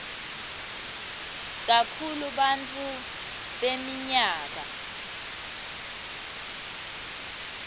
kakhulu bantfu beminyaka